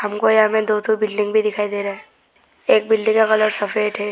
हमको यहां में दो ठो बिल्डिंग भी दिखाई दे रहा है एक बिल्डिंग का कलर सफेद है।